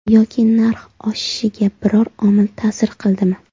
Yoki narx oshishiga biror omil ta’sir qildimi?